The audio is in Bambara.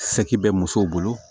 bɛ musow bolo